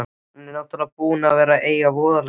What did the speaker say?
Hann er náttúrlega búinn að eiga voðalega erfitt.